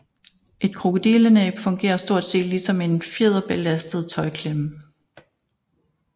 Et krokodillenæb fungerer stort set ligesom en fjederbelastet tøjklemme